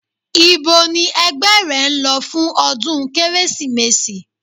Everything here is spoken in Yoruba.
Íbo ni ẹgbẹ́ rẹ ń lọ fún ọdún Kérésìmesì?